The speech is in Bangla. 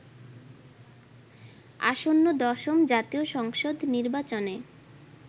আসন্ন দশম জাতীয় সংসদ নির্বাচনে